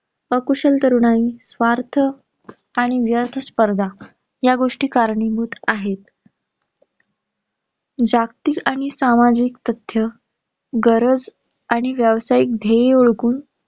अकुशल तरुणाई, स्वार्थ, आणि व्यर्थ स्पर्धा या गोष्टी कारणीभूत आहेत. जागतिक आणि सामाजिक तथ्य गरज आणि व्यावसायीक ध्येय ओळखून